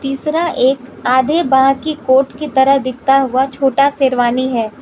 तीसरा एक आधे बांह की कोट की तरह दिखता हुआ छोटा शेरवानी है।